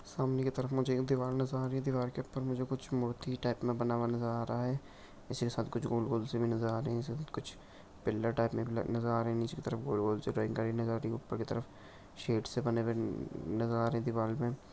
सामने की तरफ मुझे एक दीवाल नजर आ रही है दीवाल के ऊपर में मुझे कुछ मूर्ति टाइप में बना हुआ नजर आरहा है इसके साथ कुछ गोल गोल से भी नजर आ रहे है सबकुछ पिल्लर टाइप में नजर आ रहे है नीचे की तरफ गोल गोल से नजर आरहे है ऊपर की तरफ शेप से बने नजर आ रहे दीवाल में।